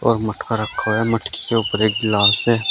और मटका रखा हुआ है। मटकी के ऊपर एक गिलास है।